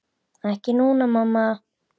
Ekki núna, mamma.